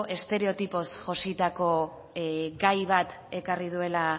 estereotipoz jositako gai bat ekarri duela